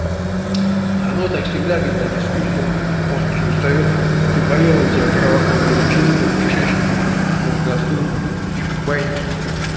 а оно так всегда когда не спишь долго мозг же устаёт ты поела у тебя кровоток весь в желудок в кишечник ушёл от мозга отхлынул и баиньки